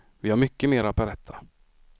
Vi har mycket mer att berätta.